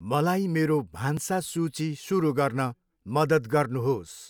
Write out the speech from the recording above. मलाई मेरो भान्सा सूची सुरु गर्न मद्दत गर्नुहोस्।